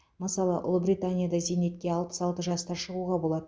мысалы ұлыбританияда зейнетке алпыс алты жаста шығуға болады